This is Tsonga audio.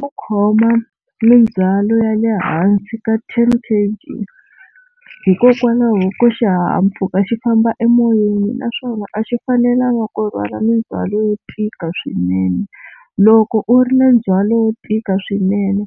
Ku khoma mindzwalo ya le hansi ka ten K_G hikokwalaho ko xihahampfhuka xi famba emoyeni naswona a xi fanelanga ku rhwala mindzwalo yo tika swinene. Loko u ri na ndzhwalo wo tika swinene